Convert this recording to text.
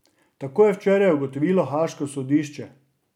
Tako je včeraj ugotovilo haaško sodišče.